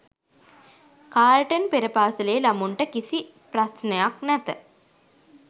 Carlton පෙර පාසැලේ ළමුන්ට කිසි ප්රස්නයක් නැත.